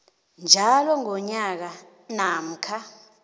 njalo ngonyaka namkha